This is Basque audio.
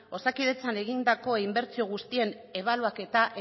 osakidetzan egindako inbertsio guztien ebaluaketa